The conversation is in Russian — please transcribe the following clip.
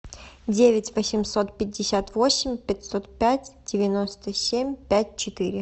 девять восемьсот пятьдесят восемь пятьсот пять девяносто семь пять четыре